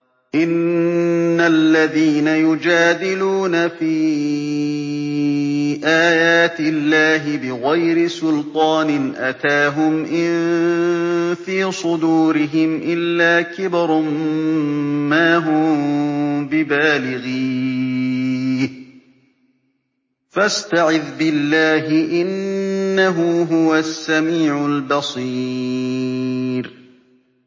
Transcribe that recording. إِنَّ الَّذِينَ يُجَادِلُونَ فِي آيَاتِ اللَّهِ بِغَيْرِ سُلْطَانٍ أَتَاهُمْ ۙ إِن فِي صُدُورِهِمْ إِلَّا كِبْرٌ مَّا هُم بِبَالِغِيهِ ۚ فَاسْتَعِذْ بِاللَّهِ ۖ إِنَّهُ هُوَ السَّمِيعُ الْبَصِيرُ